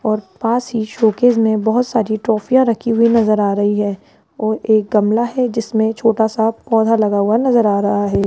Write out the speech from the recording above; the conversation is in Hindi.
और पास ही शोकेस में बहहोत सारी ट्रॉफीयाँ रखी हुई नजर आ रही है और एक गमला है जिसमें छोटा सा पौधा लगा हुआ नजर आ रहा है।